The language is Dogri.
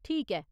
ठीक ऐ।